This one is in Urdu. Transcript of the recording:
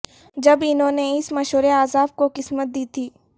جب انہوں نے اس مشورے عذاب کو قسمت دی تھی